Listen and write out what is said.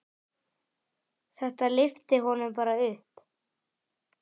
Þetta lyfti honum bara upp.